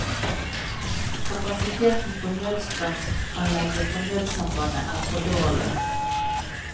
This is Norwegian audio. Kapasiteten på nødstrømanlegget for nødsambandet er for dårlig.